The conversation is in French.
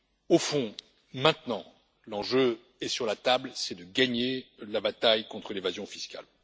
Au fond, maintenant, l'enjeu est sur la table, c'est de gagner la bataille contre l'évasion fiscale.